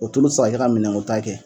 O tulu te se ka kɛ ka minɛnkota kɛ